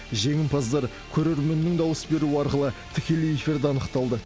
жеңімпаздар көрерменнің дауыс беруі арқылы тікелей эфирде анықталды